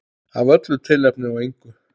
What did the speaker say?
Af öllu tilefni og engu.